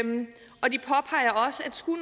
skulle